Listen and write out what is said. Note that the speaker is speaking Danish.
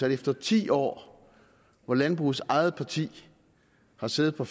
at efter ti år hvor landbrugets eget parti har siddet på